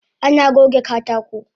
Ana goge katako